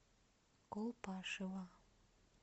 колпашево